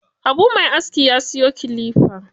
Habu mai aski ya siyo kilifa.